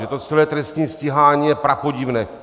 Že to celé trestní stíhání je prapodivné?